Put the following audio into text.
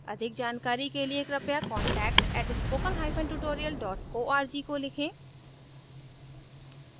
अधिक जानकारी का लिए कृपया contact @spokentutorial org को लिखें